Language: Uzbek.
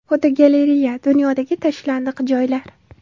Fotogalereya: Dunyodagi tashlandiq joylar.